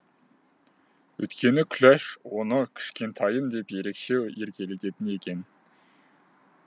өйткені күләш оны кішкентайым деп ерекше еркелететін екен